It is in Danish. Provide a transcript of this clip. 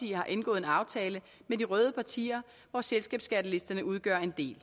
har indgået en aftale med de røde partier og selskabsskattelisterne udgør en del